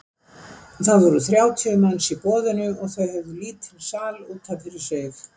Það voru þrjátíu manns í boðinu og þau höfðu lítinn sal út af fyrir sig.